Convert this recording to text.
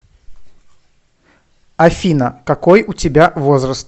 афина какой у тебя возраст